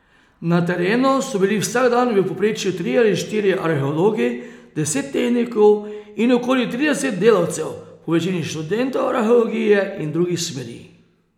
Na terenu so bili vsak dan v povprečju trije ali štirje arheologi, deset tehnikov in okoli trideset delavcev, povečini študentov arheologije in drugih smeri.